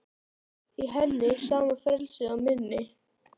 Í henni sama frelsið og minni.